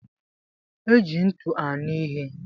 Eji ntị aṅụ ihe.